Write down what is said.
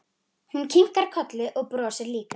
Hún kinkar kolli og brosir líka.